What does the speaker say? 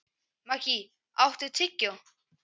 Maggey, áttu tyggjó?